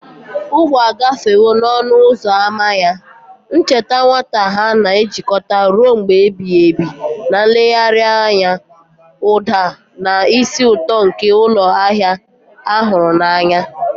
Ọgbọ agafewo n'ọnụ ụzọ ámá ya, ncheta nwata ha na-ejikọta ruo mgbe ebighị ebi na nlegharị anya, ụda, na ísì ụtọ nke ụlọ ahịa a hụrụ n'anya.